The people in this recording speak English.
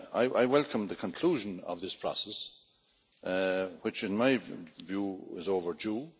I welcome the conclusion of this process, which, in my view, is overdue.